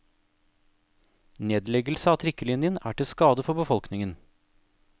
Nedleggelse av trikkelinjen er til skade for befolkningen.